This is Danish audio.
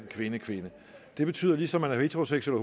kvinde kvinde det betyder at ligesom man er heteroseksuel